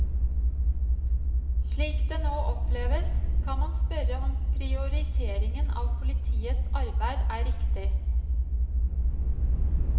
Slik det nå oppleves, kan man spørre om prioriteringen av politiets arbeid er riktig.